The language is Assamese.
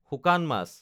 শুকান মাছ